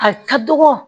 A ka dɔgɔ